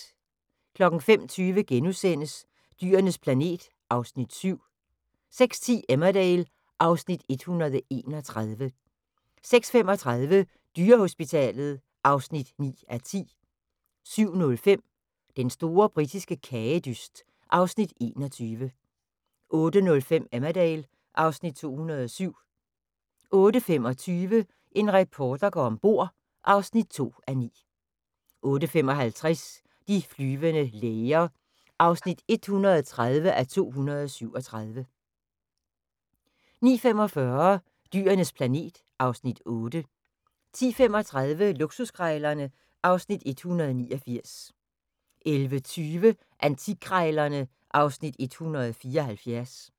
05:20: Dyrenes planet (Afs. 7)* 06:10: Emmerdale (Afs. 131) 06:35: Dyrehospitalet (9:10) 07:05: Den store britiske kagedyst (Afs. 21) 08:05: Emmerdale (Afs. 207) 08:25: En reporter går ombord (2:9) 08:55: De flyvende læger (130:237) 09:45: Dyrenes planet (Afs. 8) 10:35: Luksuskrejlerne (Afs. 169) 11:20: Antikkrejlerne (Afs. 174)